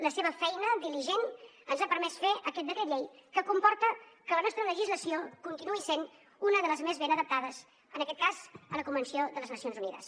la seva feina diligent ens ha permès fer aquest decret llei que comporta que la nostra legislació continuï sent una de les més ben adaptades en aquest cas a la convenció de les nacions unides